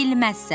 Bilməzsən.